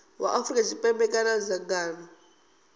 wa afrika tshipembe kana dzangano